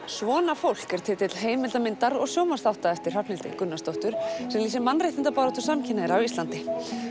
svona fólk er titill heimildamyndar og sjónvarpsþátta eftir Hrafnhildi Gunnarsdóttur sem lýsir mannréttindabaráttu samkynhneigðra á Íslandi